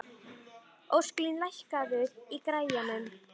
Ósklín, lækkaðu í græjunum.